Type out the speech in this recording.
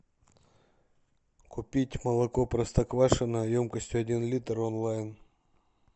купить молоко простоквашино емкостью один литр онлайн